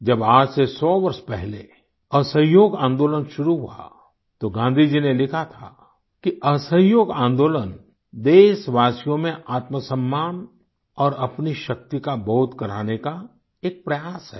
जब आज से सौ वर्ष पहले असहयोग आंदोलन शुरू हुआ तो गांधी जी ने लिखा था कि असहयोग आन्दोलन देशवासियों में आत्मसम्मान और अपनी शक्ति का बोध कराने का एक प्रयास है